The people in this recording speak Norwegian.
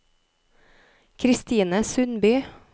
Kristine Sundby